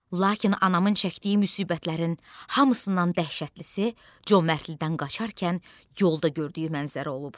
Lakin anamın çəkdiyi müsibətlərin hamısından dəhşətlisi Comərtlidən qaçarkən yolda gördüyü mənzərə olub.